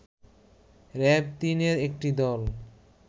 র‌্যাব-৩ এর একটি দল